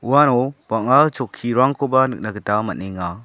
uano bang·a chokkirangkoba nikna gita man·enga.